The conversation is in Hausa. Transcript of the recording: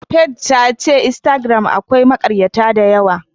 Faith tace instagram akwai makaryata dayawa.